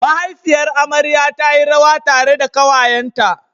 Mahaifiyar amarya ta yi rawa tare da ƙawayenta.